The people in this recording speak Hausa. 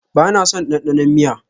Ba na son dandanon miya.